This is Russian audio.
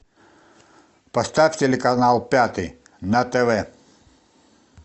поставь телеканал пятый на тв